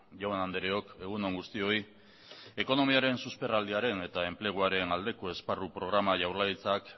jaun andreok egun on guztioi ekonomiaren susperraldiaren eta enpleguaren aldeko esparru programa jaurlaritzak